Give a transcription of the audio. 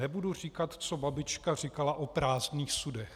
Nebudu říkat, co babička říkala o prázdných sudech."